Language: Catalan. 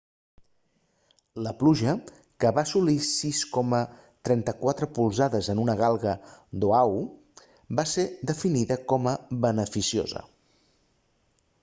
la pluja que va assolir 6,34 polzades en una galga d'oahu va ser definida com a beneficiosa